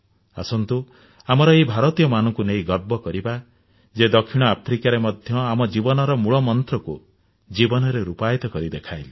ଆସନ୍ତୁ ଆମର ଏହି ଭାରତୀୟମାନଙ୍କୁ ନେଇ ଗର୍ବ କରିବା ଯିଏ ଦକ୍ଷିଣ ଆଫ୍ରିକାରେ ମଧ୍ୟ ଆମ ଜୀବନର ମୂଳମନ୍ତ୍ରକୁ ଜୀବନରେ ରୂପାୟିତ କରି ଦେଖାଇଥିଲେ